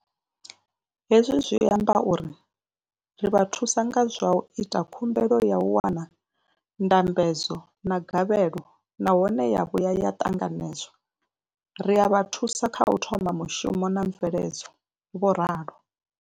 Hezwi zwi amba uri ri vha thusa nga zwa u ita khumbelo ya u wana ndambedzo ya gavhelo nahone ya vhuya ya ṱanganedzwa, ri a vha thusa kha u thoma mushumo na mveledzo, vho ralo.